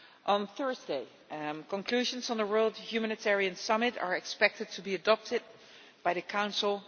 On Thursday, conclusions on the World Humanitarian Summit are expected to be adopted by the Council.